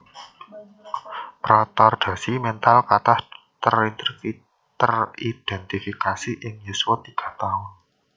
Retardasi mental katah teridentifikasi ing yuswa tiga taun